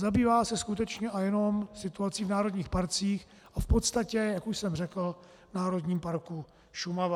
Zabývá se skutečně a jenom situací v národních parcích a v podstatě, jak už jsem řekl, v Národním parku Šumava.